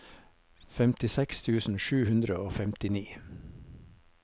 femtiseks tusen sju hundre og femtini